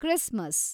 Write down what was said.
Christmas